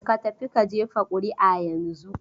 Ka tafi ka jefa ƙuri'a yanzun!